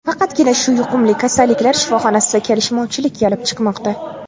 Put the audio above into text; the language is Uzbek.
Faqatgina shu yuqumli kasalliklar shifoxonasida kelishmovchilik kelib chiqmoqda.